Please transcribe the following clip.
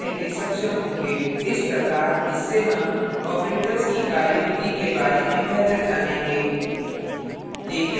इस प्रकार इससे हम operators की कार्यविधि के बारे में बेहतर जानेंगे